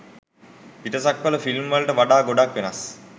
පිටසක්වල film වලට වඩා ගොඩක් වෙනස්.